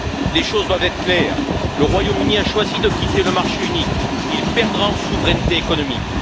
Les choses doivent être claires le Royaume Uni a choisi de quitter le marché unique, il perdra en souveraineté économique.